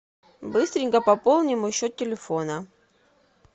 быстренько пополни мой счет телефона